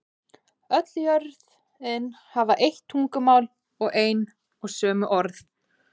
Öll jörðin hafði eitt tungumál og ein og sömu orð.